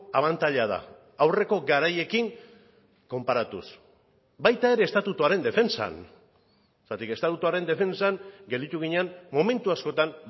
abantaila da aurreko garaiekin konparatuz baita ere estatutuaren defentsan zergatik estatutuaren defentsan gelditu ginen momentu askotan